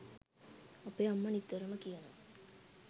අපේ අම්මා නිතරම කියනවා